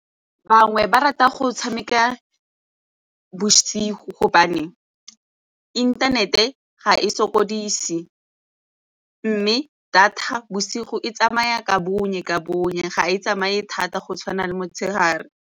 Bangwe ba rata go tshameka bosigo gobane inthanete ga e sokodise mme data bosigo e tsamaya ka bonye ka bonye ga e tsamaye thata go tshwana le motshegare.